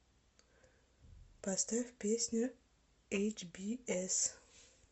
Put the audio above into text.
поставь песню эйчбиэс